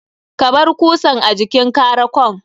Kabar kusan a jikin karakon.